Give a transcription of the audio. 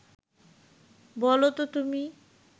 বলো ত তুমি